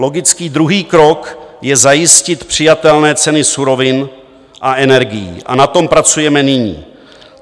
Logický druhý krok je zajistit přijatelné ceny surovin a energií a na tom pracujeme nyní.